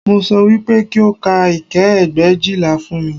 Mo sọ wípé kí o ka ike ẹgbẹ̀éjìlá fún mi